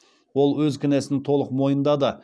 ол өз кінәсін толық мойындады